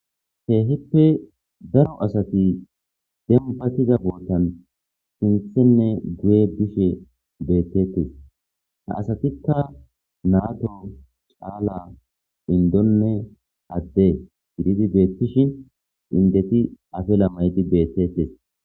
Keehippe daro asati dem batiza bootanwoykko heera sinthenne guye bishe beettetes ha asatikka naato caala indonne adde gididi beettishin indeti afila mayidi beettettes